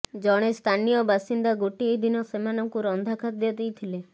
ଜଣେ ସ୍ଥାନୀୟ ବାସିନ୍ଦା ଗୋଟିଏ ଦିନ ସେମାନଙ୍କୁ ରନ୍ଧା ଖାଦ୍ୟ ଦେଇଥିଲେ